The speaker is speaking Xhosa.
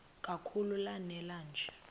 kakhulu lanela nje